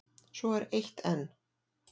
Svo er eitt enn.